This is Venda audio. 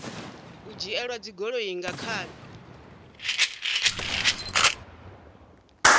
u dzhielwa dzigoloi nga khani